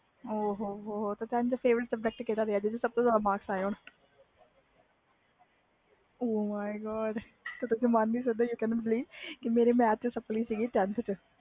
ਓ ਹੋ ਤੇ ਤੁਹਾਡਾ favourite subject ਕਿਹੜਾ ਸੀ ਜਿਸ ਵਿੱਚੋ ਜਿਆਦਾ marks ਆਏ ਸੀ